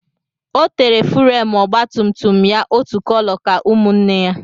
Ọ tere fúremú ọgba tum tum ya otu kóló ka ụmụnne ya